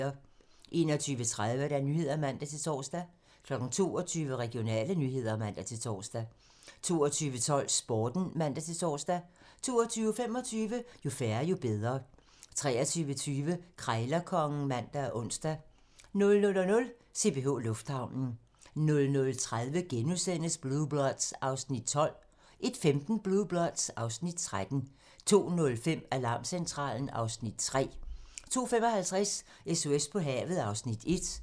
21:30: Nyhederne (man-tor) 22:00: Regionale nyheder (man-tor) 22:12: Sporten (man-tor) 22:25: Jo færre, jo bedre (man) 23:20: Krejlerkongen (man og ons) 00:00: CPH Lufthavnen 00:30: Blue Bloods (Afs. 12)* 01:15: Blue Bloods (Afs. 13) 02:05: Alarmcentralen (Afs. 3) 02:55: SOS på havet (Afs. 1)